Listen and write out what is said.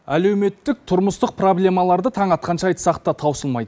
әлеуметтік тұрмыстық проблемаларды таң атқанша айтсақ та таусылмайды